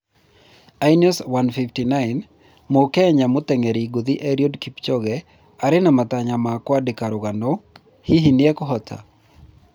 "iNEOS 1:59": mũkenya mũteng’eri ngũthi Eliud Kipchoge arĩ na matanya ma kwandĩka rũgano, hihi nĩekũhota